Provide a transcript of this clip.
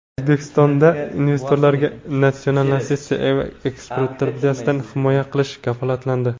O‘zbekistonda investorlarga natsionalizatsiya va ekspropriatsiyadan himoya qilish kafolatlandi.